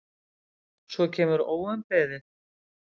Svo kemur óumbeðið